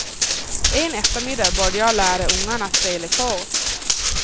En eftermiddag började jag lära ungarna spela kort.